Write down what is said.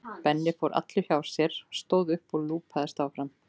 Benni fór allur hjá sér, stóð upp og lúpaðist fram.